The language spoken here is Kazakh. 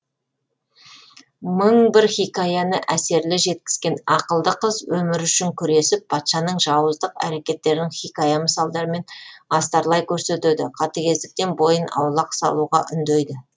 мың бір хикаяны әсерлі жеткізген ақылды қыз өмірі үшін күресіп патшаның жауыздық әрекеттерін хикая мысалдармен астарлай көрсетеді қатыгездіктен бойын аулақ салуға үндейді